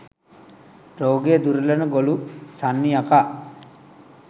රෝගය දුරලන ගොළු සන්නි යකා